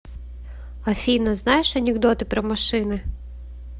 афина знаешь анекдоты про машины